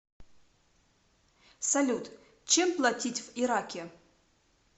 салют чем платить в ираке